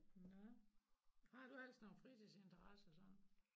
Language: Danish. Nåh har du ellers nogen fritidsinteresser sådan